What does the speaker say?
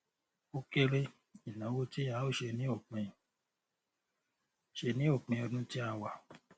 o kere ìnáwó tí a o ṣe ní òpin ṣe ní òpin ọdún tí a wà